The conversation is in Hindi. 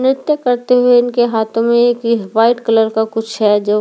नित्य करते हुए इनके हाथों में एक यह व्हाइट कलर का कुछ है जो --